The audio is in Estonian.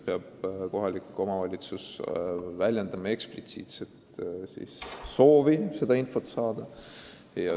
Kohalik omavalitsus peab väljendama eksplitsiitset soovi teatud infot saada.